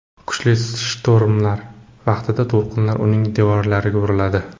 Kuchli shtormlar vaqtida to‘lqinlar uning devorlariga uriladi.